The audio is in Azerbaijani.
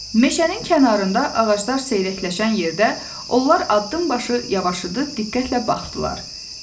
Meşənin kənarında ağaclar seyrəkləşən yerdə onlar addımbaşı yavaşıyıb diqqətlə baxdılar.